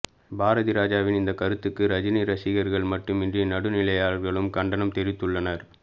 பாரதிராஜாவின் இந்த கருத்துக்கு ரஜினி ரசிகர்கள் மட்டுமின்றி நடுநிலையாளர்களும் கண்டனம் தெரிவித்துள்ளனர்